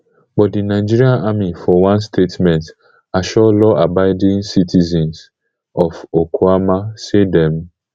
but di nigerian army for one statement assure lawabiding citizens of okuama say dem